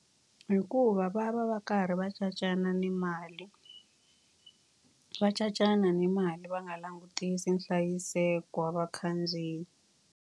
Hikuva va va va karhi va cacana na mali. Va cacana na mali va nga langutisi nhlayiseko wa vakhandziyi.